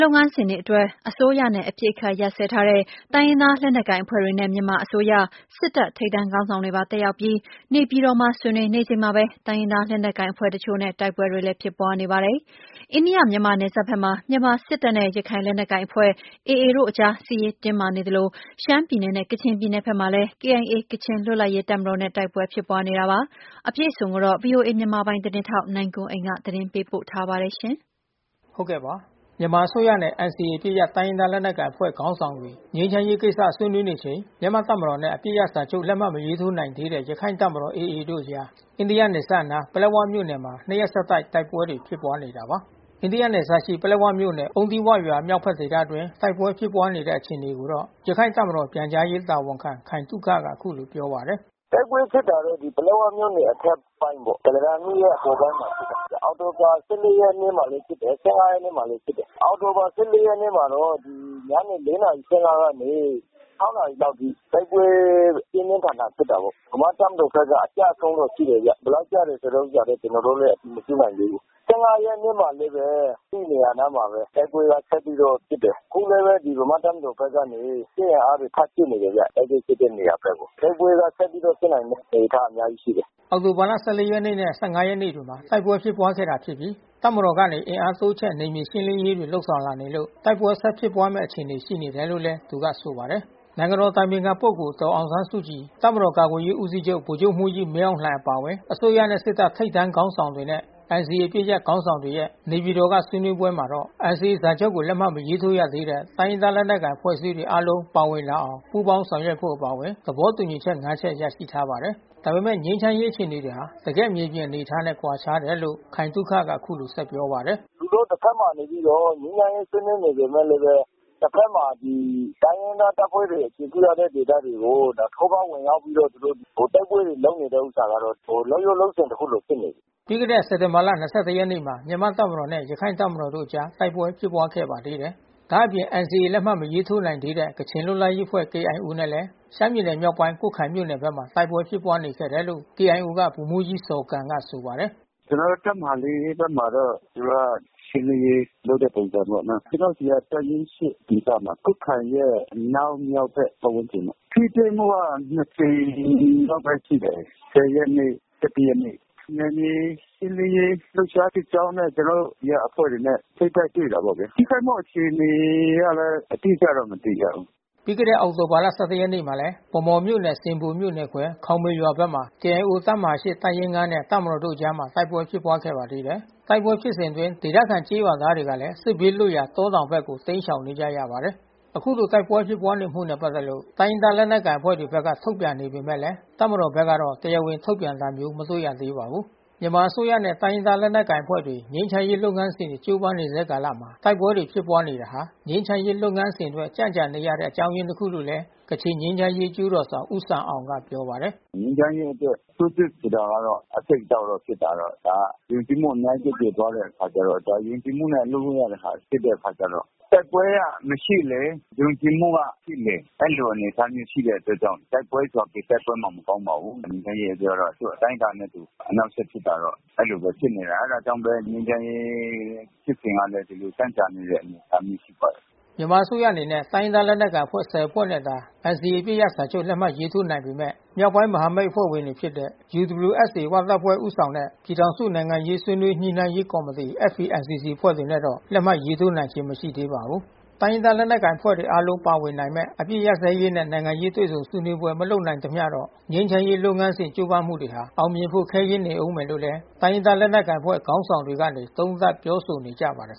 လုပ်ငန်းစဉ်တွေအတွက် အစိုးရနဲ့ အပစ်အခတ်ရပ်စဲထားတဲ့ တိုင်းရင်းသား လက်နက်ကိုင်အဖွ့ဲတွေနဲ့ မြန်မာအစိုးရ၊ စစ်တပ် ထိပ်တန်းခေါင်းဆောင်တွေပါ တက်ရောက်ပြီး နေပြည်တော်မှာ ဆွေးနွေး နေချိန်မှာဘဲ တိုင်းရင်းသား လက်နက်ကိုင် အဖွဲ့တချို့နဲ့ တိုက်ပွဲတွေလည်း ဖြစ်ပွားနေပါတယ်။ အိန္ဒိယ မြန်မာနယ်စပ်ဘက်မှာ မြန်မာစစ်တပ်နဲ့ ရခိုင်လက်နက်ကိုင်အဖွဲ့AAတို့အကြား စစ်ရေးတင်းမာနေသလို၊ ရှမ်းပြည်နယ်နဲ့ ကချင်ပြည် နယ်ဘက်မှာလဲ KIAကချင်လွတ်လပ်ရေး တပ်မတော်နဲ့တိုက်ပွဲဖြစ်ပွါးနေတာပါ။ အပြည့်အစုံကိုတော့ ဗွီအိုအေမြန်မာ ပိုင်းသတင်းထောက် နိုင်ကွန်းအိန်က သတင်းပေးပို့ ထားပါတယ်။ မြန်မာအစိုးရနဲ့NCAအပစ်ရပ်တိုင်းရင်းသားလက်နက်ကိုင်အဖွဲ့ခေါင်းဆောင်တွေငြိမ်းချမ်းရေးကိစ္စဆွေးနေချိန် မြန်မာတပ်မတော်နှင့် အပစ်ရပ်စာချုပ်လက်မှတ်မရေးထိုးနိုင်သေးတဲ့ရခိုင့်တပ်မတော်AAတို့အကြား အိန္ဒိယနယ်စပ် အနား ပလက်ဝမြို့နယ်မှာ နှစ်ရက်ဆက်တိုက် တိုက်ပွဲတွေဖြစ်ပွါးနေတာပါ။ အိန္ဒိယနယ်စပ်ရှိ ပလက်ဝမြို့နယ်၊ အုံးသီးဝရွာမြောက်ဖက်ဒေသအတွင်းတိုက်ပွဲဖြစ်ပွါးနေတဲ့အခြေအနေကိုတော့ ရခိုင်တပ်မတော်ပြန်ကြားရေးတာဝန်ခံ ခိုင်သုခကအခုလိုပြောပါတယ်။ "တိုက်ပွဲဖြစ်တာတော့ပလက်ဝမြို့နယ်အထက်ပိုင်းပေါ့။ ကုလားတန်မြစ်ရဲ့အပေါ်ပိုင်းမှာဖြစ်တာ။ အောက်တိုဘာ ရက်နေ့မှာလဲဖြစ်တယ်။ ရက်နေ့မှာလဲဖြစ်တယ်။ အောက်တိုဘာ ရက်နေ့မှာတော့ ညနေ နာရီခွဲကနေ နာရီလောက်အထိတိုက်ပွဲပြင်းပြင်းထန်ထန်ဖြစ်တယ်။ ဗမာ့တပ်မတော်ဘက်က အကျဆုံးတော့ရှိတယ်ဗျ။ ဘယ် လောက်ကျတယ်ဆိုတဲ့ဥစ္စာတော့ ကျွန်တော်တို့လဲအတည်မပြုနိုင်သေးဘူး။ ရက်နေ့မှာလဲဘဲ အဲဒီနေရာနား မှာဘဲ တိုက်ပွဲကဆက်ပြီးတော့ဖြစ်တယ်။ အခုလဲဘဲဗမာ့တပ်မတော်ဘက်ကနေ စစ်အင်အားတွေထပ်ဖြည့် နေတယ် ဗျ။ အဲဒီဖြစ်တဲ့နေရာဘက်ကို။ တိုက်ပွဲကဆက်ပြီးတော့ဖြစ်နိုင်တဲ့အနေအထားအများကြီးရှိတယ်။" အောက်တိုဘာ ၁၄ ရက်နေ့ နဲ့၁၅ ရက်နေ့တွေမှာ တိုက်ပွဲဖြစ်ပွါးခဲ့တာဖြစ်ပြီး တပ်မတော်ကနေအင်အား တိုးချဲ့ နယ်မြေရှင်းလင်းရေးတွေလုပ်ဆောင်လာနေလို့ တိုက်ပွဲဆက်ဖြစ်ပွါးမဲ့အခြေအနေရှိနေတယ်လို့သူကဆိုပါတယ်။ နိုင်ငံတော်အတိုင်ပင်ခံပုဂ္ဂိုလ်ဒေါ်အောင်ဆန်းစုကြည် တပ်မတော်ကာကွယ်ရေးဦးစီးချုပ်ဗိုလ်ချုပ်မှူးကြီး မင်းအောင် လှိုင်အပါအဝင် အစိုးရနဲ့ စစ်တပ် ထိပ်တန်းခေါင်းဆောင်တွေနဲ့ NCAအပစ်ရပ်ခေါင်းဆောင်တွေရဲ့ နေပြည်တော်က ဆွေးနွေးပွဲမှာတော့ NCAစာချုပ်ကိုလက်မှတ်မထိုးရသေးတဲ့ တိုင်းရင်းသားလက်နက်ကိုင်အဖွဲ့အစည်း တွေအားလုံး ပါဝင်လာအောင်ပူးပေါင်းဆောင်ရွက်ဖို့အပါအဝင် သဘောတူညီချက် ချက် ရရှိထားပါတယ်။ ဒါပေမဲ့ ငြိမ်းချမ်းရေး အခြေအေနေတွေဟာ တကယ့်မြေပြင်အနေအထားနဲ့ကွာခြားတယ်လို့ ခိုင်သုခကအခုလို ပြောပါတယ်။ "လုပ်ရိုးလုပ်စဉ်လိုမျိုးဖြစ်နေပြီးဗျ။ သူတို့တဖက်မှာနေပြီးတော့ ငြိမ်းချမ်းရေးဆွေးနွေးနေပေမဲ့လဲဘဲ တဖက်မှာ တိုင်းရင်းသားတပ်ဖွဲ့တွေအခြေပြုထားတဲ့ဒေသတွေကို ထိုးဖေါက်ဝင်ရောက်ပြီးတော့ သူတို့တိုက်ပွဲတွေ လုပ်နေ တဲ့ဥစ္စာကတော့ လုပ်ရိုးလုပ်စဉ်တခုလိုဖြစ်နေပြီး။" ပြီးခဲ့တဲ့ စက်တင်ဘာ ရက်နေ့မှာ မြန်မာ့တပ်မတော်နဲ့ ရခိုင်တပ်မတော်တို့အကြား တိုက်ပွဲဖြစ်ပွားခဲ့ ပါသေး တယ်။ ဒါ့အပြင် NCAလက်မှတ်မထိုးနိုင်သေးတဲ့ ကချင်လွတ်လပ်ရေးအဖွဲ့KIOနဲ့လဲ ရှမ်းပြည်နယ်မြောက်ပိုင်း ကွတ်ခိုင်မြို့ နယ်ဘက်မှာ တိုက်ပွဲဖြစ်ပွါးနေခဲ့တယ်လို့ KIOက ဗိုလ်မှူးကြီးဇော်ဂမ်ကပြောပါတယ်။ "ကျွန်တော်တို့တပ်မဟာ ဘက်မှာတော့ သူတို့ကရှင်းလင်းရေးလုပ်တဲ့ပုံစံပေါ့နော်။ ကျွန်တော်တို့ဆီက တပ်ရင်း ဒေသ ကွတ်ခိုင်ရဲ့အနောက်မြောက်ဘက်ပါတ်ဝန်းကျင်ပေါ့။ ထိတွေ့မှုကနှစ်ကြိမ်လောက်ရှိတယ်။ ရက်နေ့ ရက်နေ့။ နယ်မြေရှင်းလင်းရေးလှုပ်ရှားစစ်ကြောင်းနဲ့ ကျွန်တော်တို့ဆီကအဖွဲ့တွေနဲ့ထိပ်တိုက်တွေ့တယ်။ ထိခိုက်မှုအခြေအနေကလဲ အတိအကျမသိရဘူး။" ပြီးခဲ့တဲ့အောက်တိုဘာ မှာလဲ ဗန်မော်မြို့နယ်ဆင်ဘိုမြို့နယ်ခွဲ ခေါင်မေရွာဘက်မှာ KIOတပ်မဟာ တပ်ရင်း နဲ့ တပ်မတော်တို့အကြားတိုက်ပွဲဖြစ်ပွါးခဲ့ပါတယ်။ တိုက်ပွဲဖြစ်စဉ်အတွင်း ဒေသခံကျေးရွာသားတွေကလဲ စစ်ဘေးလွတ်ရာတောတောင်ဘက်ကို တိမ်းရှောင်နေရ ပါတယ်။ "အခုလိုတိုက်ပွဲဖြစ်ပွါးနေမှုနဲ့ပက်သက်လို့ တိုင်းရင်းသားလက်နက်ကိုင်အဖွဲ့တွေဘက်က ထုတ်ပြန်နေပေမဲ့ တပ်မ တော်ဘက်က တရားဝင်ထုတ်ပြန်တာမျိုးမတွေ့ရသေးပါဘူး။" မြန်မာအစိုးရနဲ့တိုင်းရင်းသားလက်နက်ကိုင်အဖွဲ့တွေ ငြိမ်းချမ်းရေးလုပ်ငန်းစဉ်တွေကြိုးပမ်းနေဆဲကာလမှာ တိုက်ပွဲ တွေဖြစ်ပွါးနေတာဟာ ငြိမ်းချမ်းရေးလုပ်ငန်းစဉ်အတွက်ကြန့်ကြာနေရတဲ့အကြောင်းရင်းတခုလို့လဲ ကချင်ငြိမ်း ချမ်းရေးအကျိုးတော်ဆောင်ဦးဆမ်အောင်ကပြောပါတယ်။ "ငြိမ်းချမ်းရေးအတွက်ထိုးစစ်ဆိုတာကတော့ အဆိပ်အတောက်တော့ဖြစ်တာတော့ ဒါကယုံကြည်မှုအများကြီး ပျက်ပြယ်သွားတဲ့အခါကျတော့ ယုံကြည်မှုနဲ့အလုပ်လုပ်ရတာဖြစ်တဲ့အခါကျတော့ တိုက်ပွဲကမရှိလေ ယုံကြည်မှု ကရှိလေ အဲဒီလိုအနေအထားမျိုးရှိတဲ့အအတွက်ကြောင့် တိုက်ပွဲဆိုတာ ဘယ်တိုက်ပွဲမှမကောင်းပါဘူး။ ငြိမ်း ချမ်းရေးအတွက်ကျတော့သူ့အတိုင်းအတာနဲ့သူ အနှောက်အယှက်ဖြစ်တာတော့ အဲဒီလိုဖြစ်နေတာ။အဲတာ ကြောင့်မို့ဘဲ ငြိမ်းချမ်းရေးဖြစ်စဉ်ကလဲ ဒီလိုကြန့်ကြာနေတဲ့အနေအထားမျိုးရှိပါတယ်။" မြန်မာအစိုးရအနေနဲ့ တိုင်းရင်းသားလက်နက်ကိုင်အဖွဲ့ ဖွဲ့နဲ့သာ NCAအပစ်ရပ်စာချုပ်လက်မှတ်ရေး ထိုးနိုင် ပေမဲ့မြောက်ပိုင်းမဟာမိတ်အဖွဲ့ဝင်တွေဖြစ်တဲ့ UWSA ဝတပ်ဖွဲ့ဦးဆောင်တဲ့ ပြည်ထောင်စုနိုင်ငံရေးဆွေးနွေးညှိနှိုင်း ရေးကော်မတီ FPNCC အဖွဲ့တွေနဲ့တော့ လက်မှတ်ရေးထိုးနိုင်ခြင်းမရှိသေးပါဘူး။ တိုင်းရင်းသားလက်နက်ကိုင်အဖွဲ့တွေအားလုံးပါဝင်နိုင်မဲ့ အပစ်ရပ်စဲရေးနဲ့နိုင်ငံရေးတွေ့ဆုံဆွေးနွေးပွဲ မလုပ်နိုင် သမျှတော့ ငြိမ်းချမ်းရေးလုပ်ငန်းစဉ်ကြိုးပမ်းမှုတွေဟာ အောင်မြင်ဖို့ခဲယဉ်းနေဦးမယ်လို့လဲ တိုင်းရင်းသား လက် နက်ကိုင်အဖွဲ့ခေါင်းဆောင်တွေကနေသုံးသပ်ပြောဆိုနေကြပါတယ်